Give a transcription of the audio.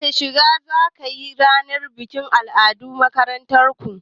Wace shiga zakiyi a ranar bikin al'adu ta makarantar ku?